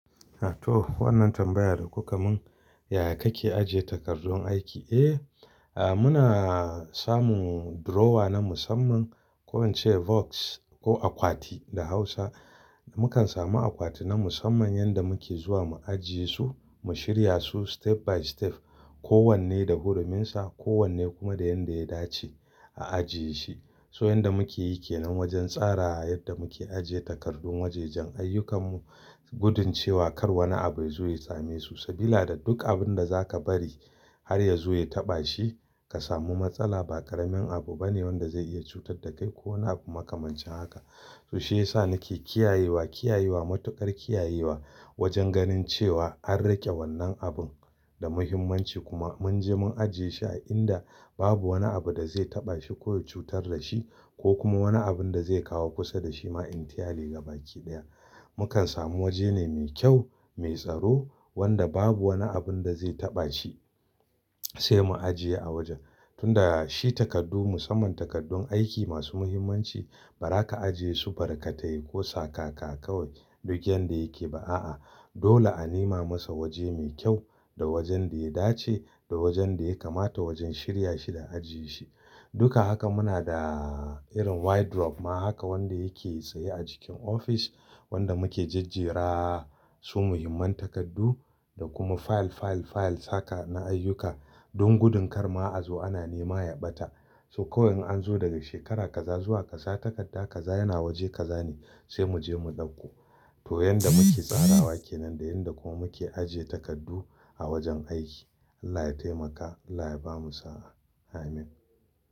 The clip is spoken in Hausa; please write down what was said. A toh wannan tambayar da kuka mun, yaya kake ajiye takardun aiki? Eh, muna samun drawer na musamman ko in ce box ko akwati da Hausa. Mukan samu akwati na musamman yanda muke zuwa mu ajiye su, mu shirya su step by step. Ko wanne da huruminsa, ko wanne kuma da yanda ya dace a ajiye shi. So yanda muke yi ke nan wajen tsara yadda muke ajiye takardun wajajen ayyukanmu. Gudun cewa kar wani abu ya zo ya same su. Sabida da duk abinda zaka bari har ya zo ya taɓa shi ka samu matsala ba ƙaramin abu bane wanda zai iya cutar da kai ko wani abu makamancin haka. To shiyasa nake kiyayewa, kiyayewa matuƙar kiyayewa wajen ganin cewa an riƙe wannan abun da muhimmanci kuma mun je mun ajiye shi a inda babu wani abu da zai taɓa shi ko ya cutar da shi ko kuma wani abun da zai kawo kusa da shi ma in tialai gabaki ɗaya. Mukan samu waje ne mai kyau, mai tsaro wanda babu wani abun da zai taɓa shi sai mu ajiye a wajen. Tunda shi takardu musamman takardun aiki masu muhimmanci ba za ka ajiye su barkatai ko sakaka kawai duk yanda yake ba a'a. Dole a nema masa waje mai kyau da wajen da ya dace da wajen da ya kamata wajen shirya shi da ajiye shi. Duka haka muna da irin wardrobe ma haka wanda yake tsaye a jikin ofis wanda muke jajjera su muhimman takardu da kuma fayil, fayil, fayil haka na ayyuka don gudun kar ma'azo ana nema ya ɓata. So kawai in an zo daga shekara kaza zuwa kaza takarda kaza yana waje kaza ne sai mu je mu ɗauko. To yanda muke tsarawa ke nan da yanda kuma muke ajiye takardu a wajen aiki. Allah ya taimaka, Allah ya bamu sa'a. Amin.